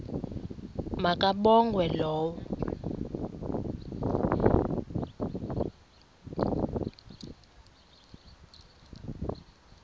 ma kabongwe low